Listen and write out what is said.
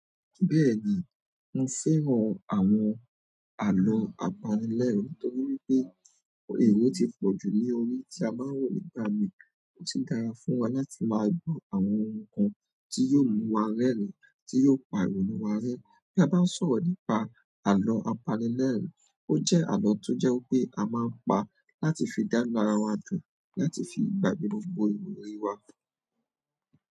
Bẹ́ẹ̀ni, mo fẹ́ran àwọn àlọ́ apanilẹ́rìín torí wípé èrò ti pọ̀ jù ní orí tí a máa ń wò nígbà mi. Ó ti dára fún wa láti máa gbọ́ àwọn ohun kan tí yóò mú wa rẹ́rìn-ín, tí yóò pa irònú wa rẹ́. Bí a bá ń sọ̀rọ̀ nípa àlọ́ apanilẹ́rìín, ó jẹ́ àlọ́ tó jẹ́ pé a máa ń pa láti fi dánú ara wa dùn, láti fi gbàgbé gbogbo ìròrí wa.